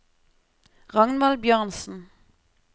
Ragnvald Bjørnsen